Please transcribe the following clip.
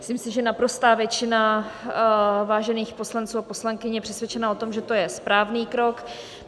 Myslím si, že naprostá většina vážených poslanců a poslankyň je přesvědčena o tom, že to je správný krok.